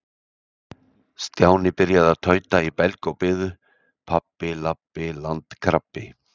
Stjáni byrjaði að tauta í belg og biðu: Pabbi- labbi- landkrabbi.